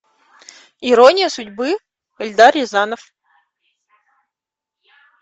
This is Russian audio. ирония судьбы эльдар рязанов